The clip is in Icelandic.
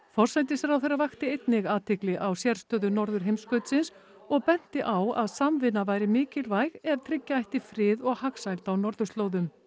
forsætisráðherra vakti einnig athygli á sérstöðu norðurheimskautsins og benti á að samvinna væri mikilvæg ef tryggja ætti frið og hagsæld á norðurslóðum